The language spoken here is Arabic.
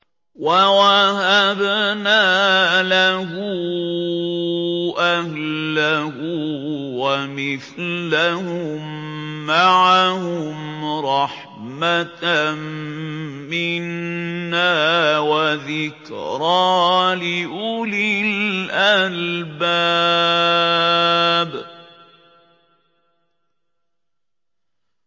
وَوَهَبْنَا لَهُ أَهْلَهُ وَمِثْلَهُم مَّعَهُمْ رَحْمَةً مِّنَّا وَذِكْرَىٰ لِأُولِي الْأَلْبَابِ